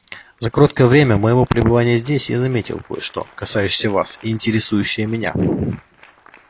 за короткое время моего пребывания здесь я заметил кое-что касающееся вас и интересующее меня